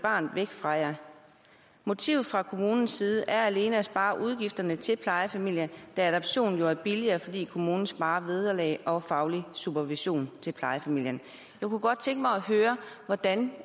barnet væk fra jer motivet fra kommunens side er alene at spare udgifterne til plejefamilien da adoptionen jo er billigere fordi kommunen sparer vederlag og faglig supervision til plejefamilien jeg kunne godt tænke mig at høre hvordan